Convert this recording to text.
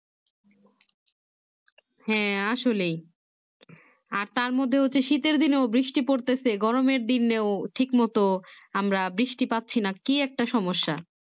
হ্যাঁ আসলেই আর তার মধ্যে হচ্ছে শীতের দিনেও বৃষ্টি পড়তেছে গরমের দিনও ঠিক মতো আমরা বৃষ্টি পাচ্ছি না কি একটা সমস্যা